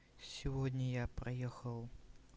сегодня я проехал